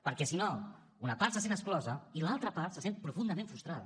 perquè si no una part se sent exclosa i l’altra part se sent profundament frustrada